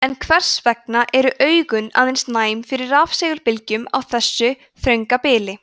en hvers vegna eru augun aðeins næm fyrir rafsegulbylgjum á þessu þrönga bili